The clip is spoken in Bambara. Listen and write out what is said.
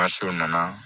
Maso nana